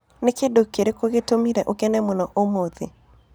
Nĩ kĩndũ kĩrĩkĩgĩtũmĩre ũkene mũno ũmũthĩ?